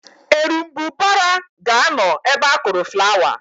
Erumbụbara ga-anọ ebe akụrụ flawa.